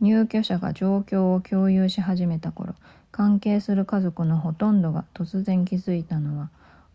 入居者が状況を共有し始めた頃関係する家族のほとんどが突然気づいたのは